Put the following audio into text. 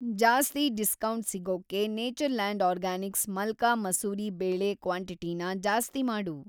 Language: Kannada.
ಜಾಸ್ತಿ ಡಿಸ್ಕೌಂಟ್‌ ಸಿಗೋಕ್ಕೆ ನೇಚರ್‌ಲ್ಯಾಂಡ್‌ ಆರ್ಗ್ಯಾನಿಕ್ಸ್ ಮಲ್ಕಾ ಮಸೂರಿ ಬೇಳೆ ಕ್ವಾಂಟಿಟಿನ ಜಾಸ್ತಿ ಮಾಡು.